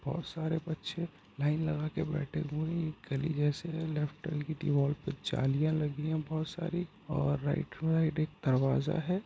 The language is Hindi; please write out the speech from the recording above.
बहुत सारे बच्चे लाइन लगा के बैठे हुए हैं। एक गली जैसी है लेफ्ट वॉल की दीवाल पे जालीया लगी ह बहुत सारी और राइट में एक दरवाज़ा है।